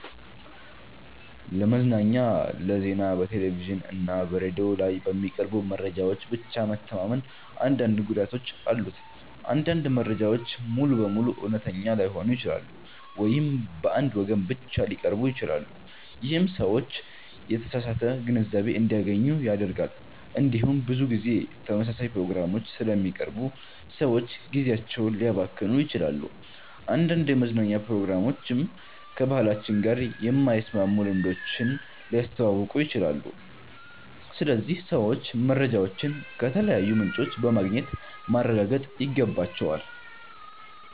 ለመዝናኛና ለዜና በቴሌቪዥን እና በሬዲዮ ላይ በሚቀርቡ መረጃዎች ብቻ መተማመን አንዳንድ ጉዳቶች አሉት። አንዳንድ መረጃዎች ሙሉ በሙሉ እውነተኛ ላይሆኑ ይችላሉ ወይም በአንድ ወገን ብቻ ሊቀርቡ ይችላሉ። ይህም ሰዎች የተሳሳተ ግንዛቤ እንዲያገኙ ያደርጋል። እንዲሁም ብዙ ጊዜ ተመሳሳይ ፕሮግራሞች ስለሚቀርቡ ሰዎች ጊዜያቸውን ሊያባክኑ ይችላሉ። አንዳንድ የመዝናኛ ፕሮግራሞችም ከባህላችን ጋር የማይስማሙ ልምዶችን ሊያስተዋውቁ ይችላሉ። ስለዚህ ሰዎች መረጃዎችን ከተለያዩ ምንጮች በማግኘት ማረጋገጥ ይገባቸዋል።